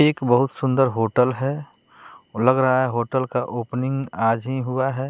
एक बहोत सुंदर होटल है और लग रहा है होटल का ओपनिंग आज ही हुआ है।